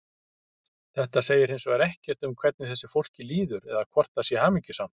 Þetta segir hins vegar ekkert um hvernig þessu fólki líður eða hvort það sé hamingjusamt.